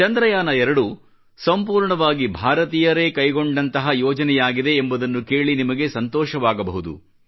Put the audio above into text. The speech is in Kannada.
ಚಂದ್ರಯಾನ 2 ಸಂಪೂರ್ಣವಾಗಿ ಭಾರತೀಯರೇ ಕೈಗೊಂಡಂತಹ ಯೋಜನೆಯಾಗಿದೆ ಎಂಬುದನ್ನು ಕೇಳಿ ನಿಮಗೆ ಸಂತೋಷವಾಗಬಹುದು